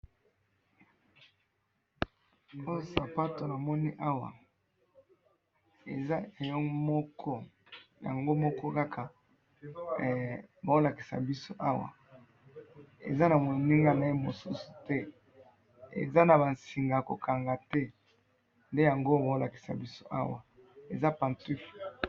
oyo sapato namoni awaeza yo moko eza yango mokoeza na mosusu te eza na moninga te nde bazolakisa biso awa eza pantouffle.